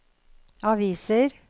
aviser